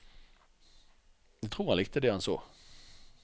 Jeg tror han likte det han så.